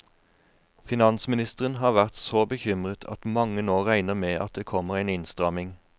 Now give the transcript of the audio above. Finansministeren har vært så bekymret at mange nå regner med at det kommer en innstramning.